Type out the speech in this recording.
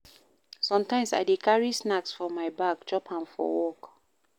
Sometimes, I dey carry snacks for my bag, chop am for work.